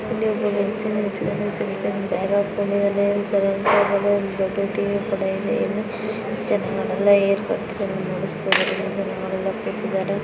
ಇಲ್ಲಿ ಒಬ್ಬ ಮನುಶ್ಯ ನಿಂತಿದ್ದಾನೆ ಅವನು ಒಂದು ಬ್ಯಾಗ್ ಹಾಕ್ಕೊಂಡಿದ್ದಾನೆ ನೋಡಬಹುದು ಇಲ್ಲಿ ಒಂದು ದೊಡ್ಡ ಟಿವಿ ಕೂಡ ಇದೆ ನೋಡಲು ಕೂತಿದ್ದಾರೆ.